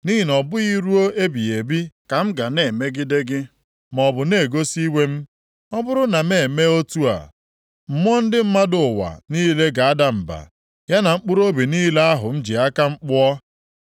Nʼihi na ọ bụghị ruo ebighị ebi ka m ga na-emegide gị, maọbụ na-egosi iwe m. Ọ bụrụ na m emee otu a, mmụọ ndị mmadụ ụwa niile ga-ada mba, ya na mkpụrụobi niile ahụ m ji aka m kpụọ.